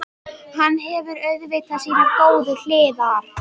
Hann hefur auðvitað sínar góðu hliðar.